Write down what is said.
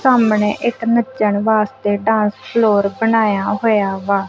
ਸਾਹਮਣੇ ਇੱਕ ਨੱਚਣ ਵਾਸਤੇ ਡਾਂਸ ਫਲੋਰ ਬਣਾਇਆ ਹੋਇਆ ਵਾ।